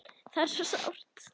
Þetta er svo sárt.